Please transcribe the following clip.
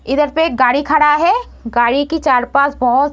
इधर पे एक गाड़ी खड़ा है गाड़ी के चार पास बहुत --